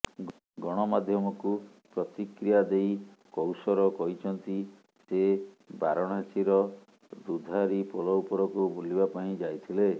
ଗଣମାଧ୍ୟମକୁ ପ୍ରତିକ୍ରିୟା ଦେଇ କୌସର କହିଛନ୍ତି ସେ ବାରଣାସୀର ଦୁଧାରୀ ପୋଲ ଉପରକୁ ବୁଲିବା ପାଇଁ ଯାଇଥିଲେ